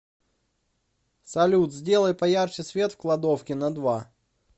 салют сделай поярче свет в кладовке на два